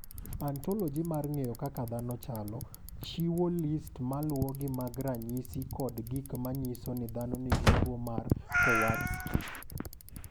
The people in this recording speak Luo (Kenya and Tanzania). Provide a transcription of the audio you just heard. "Ontoloji mar ng’eyo kaka dhano chalo, chiwo list ma luwogi mag ranyisi kod gik ma nyiso ni ng’ato nigi tuwo mar Kowarski."